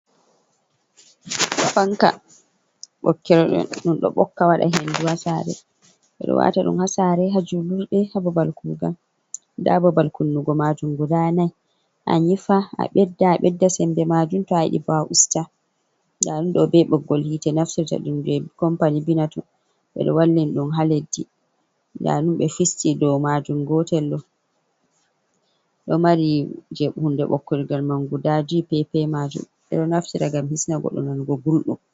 Fanka ɓokir ɗum, ɗum ɗo ɓokka waɗa hendu, ha sare ɓeɗo wata ɗum ha sare, ha julurde, ha babal kugal, nda babal kunnugo majum guda nai, anyifa, a ɓedda, a ɓedda sembe majum to a yiɗi bo usta, nda ɗum ɗo be ɓoggol hitte naftita ɗum je kompany binatun, ɓeɗo wallini ɗum ha leddi nda ɗum ɓe fisti dou majun gotel ɗo mari je hunde ɓokir gel man guda juy, ɓedo naftira ngam hisna goɗɗo nanugo gulɗum.